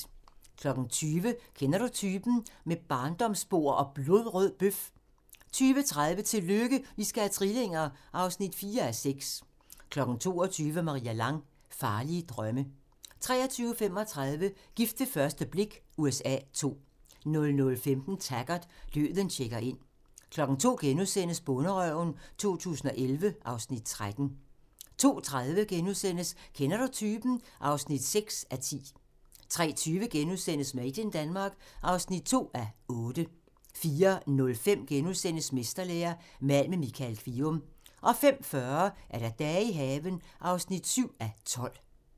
20:00: Kender Du Typen? – Med barndomsbord og blodrød bøf 20:30: Tillykke, I skal have trillinger! (4:6) 22:00: Maria Lang: Farlige drømme 23:35: Gift ved første blik USA II 00:15: Taggart: Døden checker ind 02:00: Bonderøven 2011 (Afs. 13)* 02:30: Kender du typen? (6:10)* 03:20: Made in Denmark (2:8)* 04:05: Mesterlære – mal med Michael Kvium * 05:40: Dage i haven (7:12)